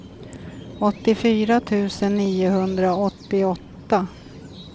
åttiofyra tusen niohundraåttioåtta